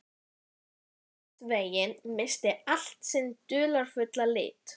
Og einhvern veginn missir allt sinn dularfulla lit.